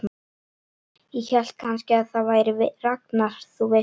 Ég hélt kannski að það væri Ragnar, þú veist.